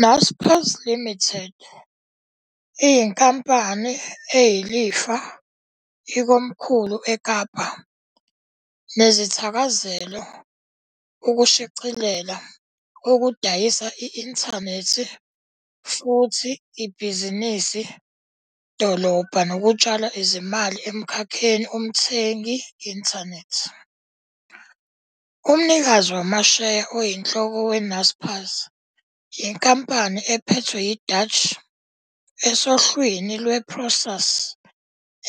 Naspers Limited iyinkampani eliyifa ikomkhulu e Kapa, nezithakazelo e ukushicilela, okudayisa inthanethi futhi ibhizinisi dolobha nokutshala izimali emkhakheni umthengi inthanethi. Umnikazi wamasheya oyinhloko we-Naspers yinkampani ephethwe yi-Dutch esohlwini lwe- Prosus,